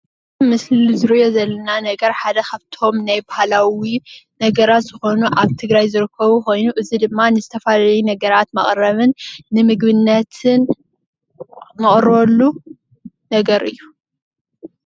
እዚ ኣብ ምስሊ ንሪኦ ዘለና ነገር ሓደ ካብቶም ናይ ባህላዊ ነገራት ዝኮኑ ኣብ ትግራይ ዝርከቡ ኮይኑ እዚ ድማ ንዝተፈላለዩ ነገራት መቀረቢ ንምግብነትን ንቅርበሉ ነገር እዩ::